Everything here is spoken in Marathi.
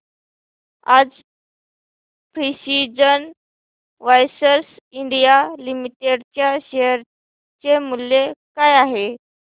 आज प्रिसीजन वायर्स इंडिया लिमिटेड च्या शेअर चे मूल्य काय आहे